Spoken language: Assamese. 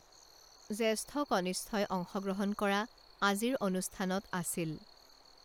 জেষ্ঠ কনিষ্ঠই অংশগ্ৰহণ কৰা আজিৰ অনুষ্ঠানত আছিল